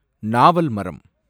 நாவல் மரம்